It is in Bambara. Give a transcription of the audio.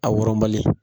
A wɔrɔnbali